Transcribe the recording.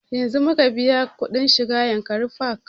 Yanzun muka biya kuɗin shiga yankari park